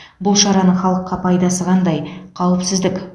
бұл шараның халыққа пайдасы қандай қауіпсіздік